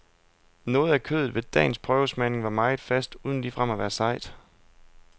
Noget af kødet ved dagens prøvesmagning var meget fast, uden ligefrem at være sejt.